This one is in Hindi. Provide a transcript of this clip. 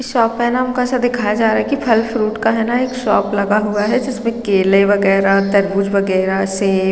एक शॉप है ना उसको ऐसे दिखाया जा रहा है कि फल फ्रूट का न एक शॉप लगा हुआ है जिसमें केले वगैरह तरबूज वगैरह सेब --